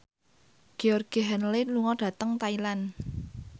Georgie Henley lunga dhateng Thailand